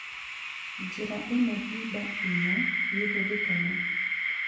Njĩra ĩno hĩba inya nĩihũthĩkaga